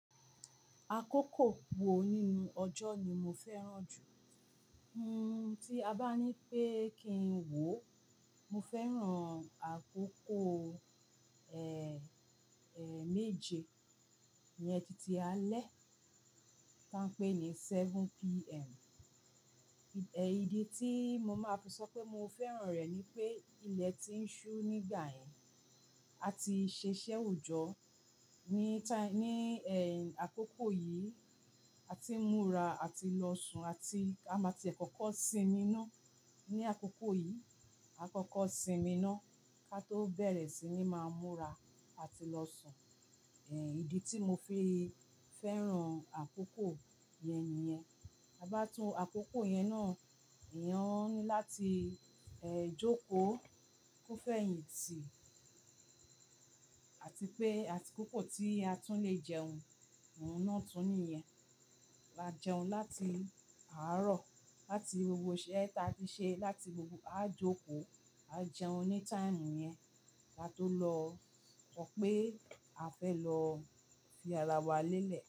Àkókò wo nínú ọjọ́ ni mo fẹ́ràn jù? Hun, tí a bá ní pé kí n wò, mo fẹ́ràn àkókò, ẹ, ẹ, méje, uyẹn ti álẹ̀ tí wọ́n ń pè ní seven PM. Ẹ idí tí mo máa fi sọ pé mo fẹ́ràn rẹ̀ ni pé ilẹ̀ ti ń ṣú nígbà yẹn, a ti ṣiṣẹ́ oòjọ́ ní táì-- ní, ẹ, àkókò yìí, a ti n múra àti lọ sùn àti a máa ti e àkọ́kọ́ sinmi ná. Ni àkókò yìí, àkọ́kọ́ sinmi ná, ká tó bẹ̀rẹ̀ sí ní máa múra àti lọ sùn. Ẹ, ìdí tí mo fi fẹ́ràn àkókò yẹn nìyẹn. A bá tún àkókò yẹn ná, èèyàn ní láti, ẹ, jókòó, kó fẹ́yìntì àti pé àti akókò tí a tún le jẹun, ohun náà tún nìyẹn. A jẹun láti àárọ̀, láti gbogbo iṣẹ́ ta ti ṣe, láti gbogbo a jókòó, a jẹun ní táìmù yẹn, ká tó lọ sọ pé a fẹ́ lọ o fi ara wa lélẹ̀.